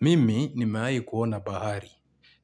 Mimi nimewahi kuona bahari.